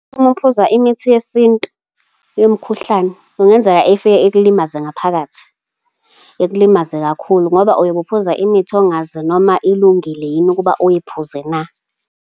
Uma uphuza imithi yesintu, yomkhuhlane, kungenzeka ifike ikulimaze ngaphakathi, ikulimaze kakhulu, ngoba uyobe uphuza imithi ongazi noma ilungile yini ukuba uyiphuze na.